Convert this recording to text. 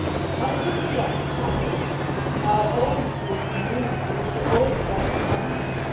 How could we let this happen in our own European Union for which we are all, together, responsible?